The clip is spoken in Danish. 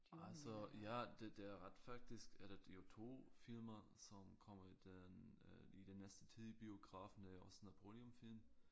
Altså ja det det er ret faktisk er der jo 2 filmer som kommer i den øh i den næste tid i biografen der er også Napoleon film